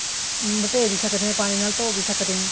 ਮਟੇ ਵੀ ਸਕਦੇ ਹਾਂ ਪਾਣੀ ਨਾਲ ਧੋ ਵੀ ਸਕਦੇ ਹਾਂ